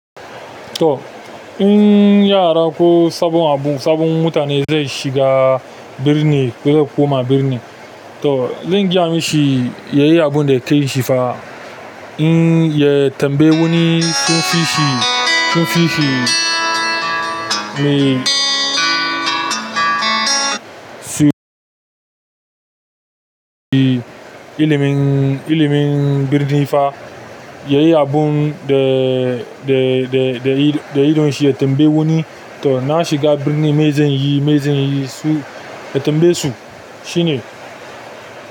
To in yara ko sabon abu, sabon mutane zai shiga birni ko zai koma birni to zan gaya mishi, ya yi abun da kan shi fa. In ya tambayi wani sun fi shi, sun fi shi mai su ilimin, ilimin birni fa ya yi abun da, da, da, da idon shi ya tambayi wani. To na shiga birni, me zan yi, me zan yi su ya tambaye su shine.